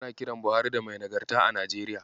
Ana kiran Buhari da "Mai Nagarta" a Najeriya.